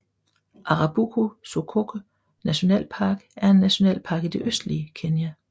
Arabuko Sokoke nationalpark er en nationalpark i det østlige Kenya